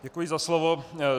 Děkuji za slovo.